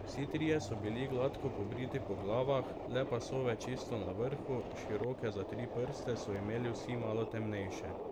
Vsi trije so bili gladko pobriti po glavah, le pasove čisto na vrhu, široke za tri prste, so imeli vsi malo temnejše.